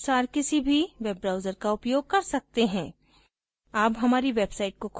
आप अपने अनुसार किसी भी web browser का उपयोग कर सकते हैं